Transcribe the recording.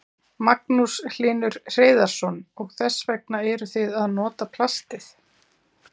Magnús Hlynur Hreiðarsson: Og þess vegna eruð þið að nota plastið?